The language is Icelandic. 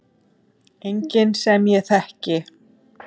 Enginn sem ég þekki.